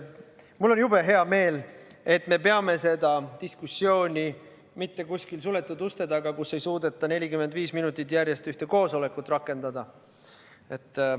Mul on jube hea meel, et me ei pea seda diskussiooni mitte kuskil suletud uste taga, kus ei suudeta 45 minutit järjest ühte koosolekut rakendada.